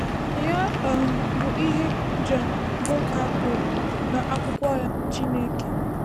Ya um bụ ihe John Bowker kwuru n’akwụkwọ ya, Chineke